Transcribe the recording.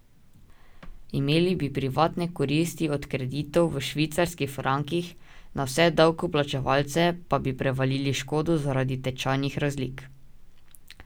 Imeli bi privatne koristi od kreditov v švicarskih frankih, na vse davkoplačevalce pa bi prevalili škodo zaradi tečajnih razlik.